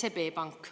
SEB Pank.